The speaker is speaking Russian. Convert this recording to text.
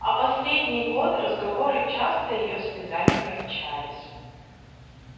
а последний год разговоры часто её слезами кончались